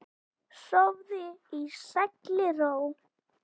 Sofðu í sælli ró.